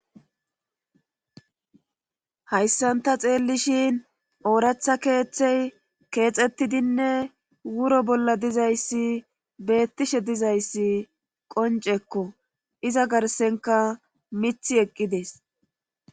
Hayssanta xeellishin ooratha keeththey keexettidinne wuro bolla dizayssi beettishe dizayssi qoncekko iza garsenka mith eqqides.